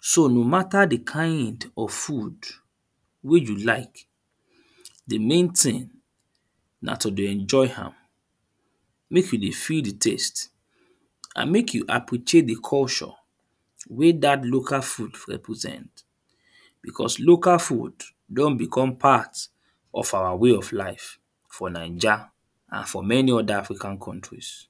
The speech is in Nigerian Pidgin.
So, no matter the kind of food wey you like. The main thing na to dey enjoy am if you dey feel the taste. And make you appreciate the culture wey dat local food represent. Because local food don become part of our way of life for naija and for many other african countries.